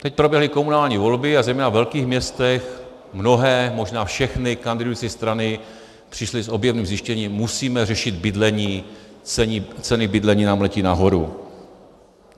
Teď proběhly komunální volby a zejména ve velkých městech mnohé, možná všechny kandidující strany přišly s objevným zjištěním: musíme řešit bydlení, ceny bydlení nám letí nahoru.